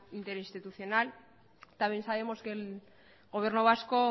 interinstitucional también sabemos que el gobierno vasco